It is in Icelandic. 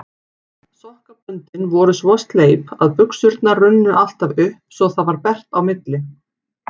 Sokkaböndin voru svo sleip að buxurnar runnu alltaf upp svo það varð bert á milli.